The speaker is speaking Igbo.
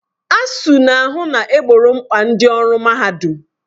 ASUU na-ahụ na egboro mkpa ndị ọrụ mahadum